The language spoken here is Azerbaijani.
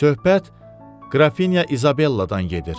Söhbət Qrafinya İzabelladan gedir.